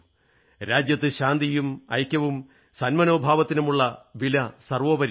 രാജ്യത്ത് ശാന്തിയും ഐക്യവും സന്മനോഭാവത്തിനുമുള്ള വില സർവ്വോപരിയാണ്